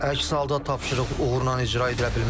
Əks halda tapşırıq uğurla icra edilə bilməz.